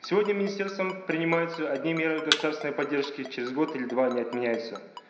сегодня министерством принимаются одни меры государственной поддержки через год или два они отменяются